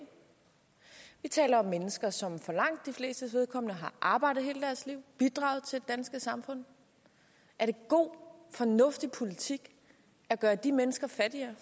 vi taler om mennesker som for langt de flestes vedkommende har arbejdet hele deres liv bidraget til danske samfund er det god fornuftig politik at gøre de mennesker fattigere